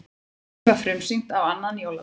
Verkið var frumsýnt á annan jóladag